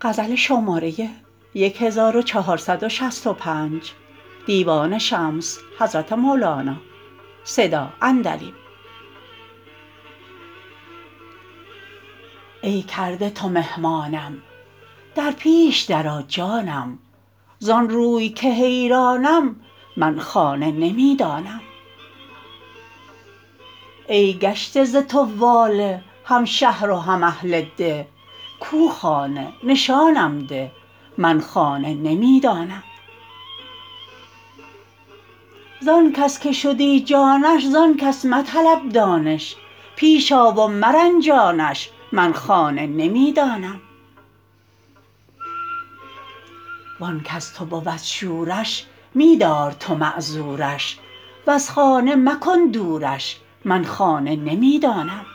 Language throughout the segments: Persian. ای کرده تو مهمانم در پیش درآ جانم زان روی که حیرانم من خانه نمی دانم ای گشته ز تو واله هم شهر و هم اهل ده کو خانه نشانم ده من خانه نمی دانم زان کس که شدی جانش زان کس مطلب دانش پیش آ و مرنجانش من خانه نمی دانم وان کز تو بود شورش می دار تو معذورش وز خانه مکن دورش من خانه نمی دانم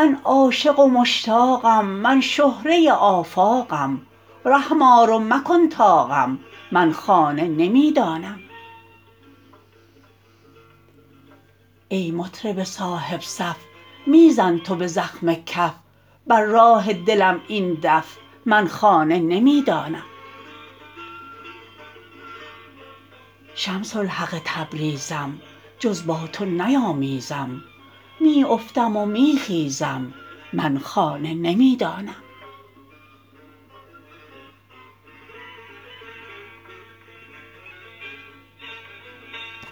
من عاشق و مشتاقم من شهره آفاقم رحم آر و مکن طاقم من خانه نمی دانم ای مطرب صاحب صف می زن تو به زخم کف بر راه دلم این دف من خانه نمی دانم شمس الحق تبریزم جز با تو نیامیزم می افتم و می خیزم من خانه نمی دانم